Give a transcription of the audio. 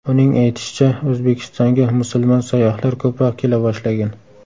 Uning aytishicha, O‘zbekistonga musulmon sayyohlar ko‘proq kela boshlagan.